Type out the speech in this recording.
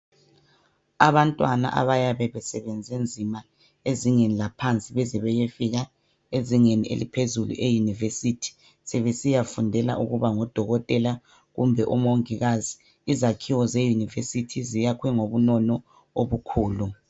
Abantwana abayabe besebenze nzima, ezingeni laphansi. Beze beyefika ezingeni eliphezulu, e-university. Sebesiyafundela ukuba ngodokotela, kumbe omongikazi. Izakhiwo ze university, zayakhwe ngobunono obukhulu.